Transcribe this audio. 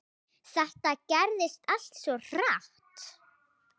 Þetta gerðist allt svo hratt.